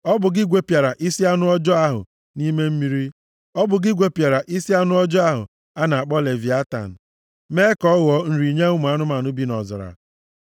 Ọ bụ gị gwepịara isi anụ ọjọọ ahụ a na-akpọ leviatan, mee ka ọ ghọọ nri nye ụmụ anụmanụ bi nʼọzara.